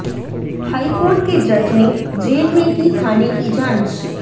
high court के जज ने जेल में की खाने की जांच